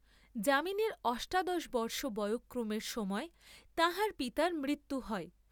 যামিনীর অষ্টাদশ বর্ষ বয়ঃক্রমের সময় তাঁহার পিতার মৃত্যু হয়।